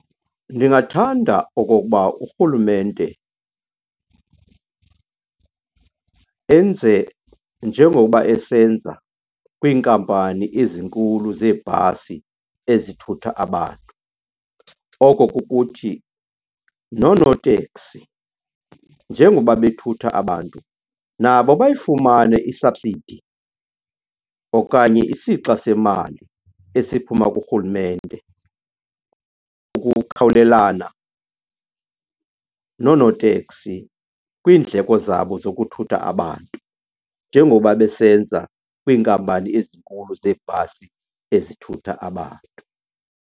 Ndingathanda okokuba urhulumente enze njengoba esenza kwiinkampani ezinkulu zeebhasi ezithutha abantu. Oko kukuthi noonoteksi njengoba bethutha abantu nabo bayifumane i-subsidy okanye isixa semali esiphuma kurhulumente ukukhawulelana noonoteksi kwiindleko zabo zokuthutha abantu njengoba besenza kwiinkampani ezinkulu zeebhasi ezithutha abantu.